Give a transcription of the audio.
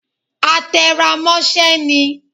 A te rá mosẹ ní